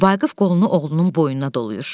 Vaqif qolunu oğlunun boynuna dolayır.